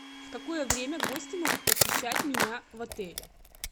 в какое время гости могут посещать меня в отеле